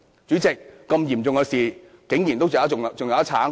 主席，這麼嚴重的事，竟然還可以爭辯？